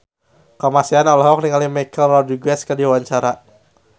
Kamasean olohok ningali Michelle Rodriguez keur diwawancara